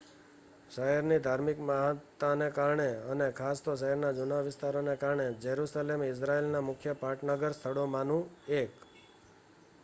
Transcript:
શહેરની ધાર્મિક મહત્તાને કારણે અને ખાસ તો શહેરના જુના વિસ્તારોને કારણે જેરુસલેમ ઇઝરાઇલના મુખ્ય પર્યટન સ્થળોમાનું 1